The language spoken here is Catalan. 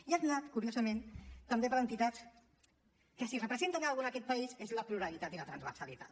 i han anat curiosament també per entitats que si representen alguna cosa en aquest país és la pluralitat i la transversalitat